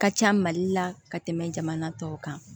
Ka ca mali la ka tɛmɛ jamana tɔw kan